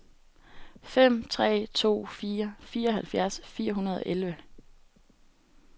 fem tre to fire fireoghalvtreds fire hundrede og elleve